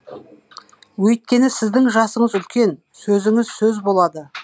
өйткені сіздің жасыңыз үлкен сөзіңіз сөз болады